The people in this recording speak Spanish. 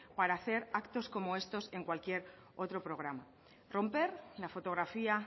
para hacer actos como estos en cualquier otro programa romper la fotografía